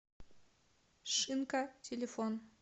шинка телефон